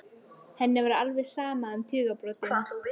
Henni var alveg sama um tugabrotin.